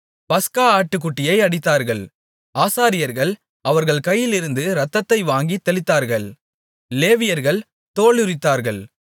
பஸ்கா ஆட்டுக்குட்டியை அடித்தார்கள் ஆசாரியர்கள் அவர்கள் கையிலிருந்து இரத்தத்தை வாங்கித் தெளித்தார்கள் லேவியர்கள் தோலுரித்தார்கள்